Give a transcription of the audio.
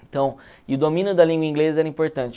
Então, e o domínio da língua inglesa era importante.